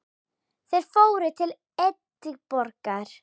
Þeir fóru til Edinborgar.